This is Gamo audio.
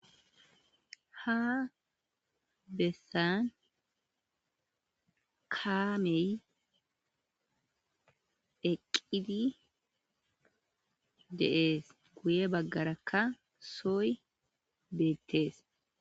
Ha besan kamey eqidi de'es guye bagaraka soy betes.